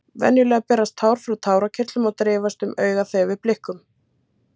Venjulega berast tár frá tárakirtlum og dreifast um augað þegar við blikkum.